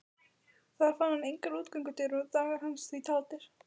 Þar fann hann engar útgöngudyr og dagar hans því taldir.